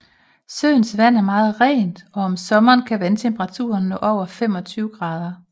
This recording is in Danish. Søens vand er meget rent og om sommeren kan vandtemperaturen nå over 25 grader